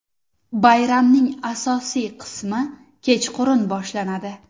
Bayramning asosiy qismi kechqurun boshlanadi.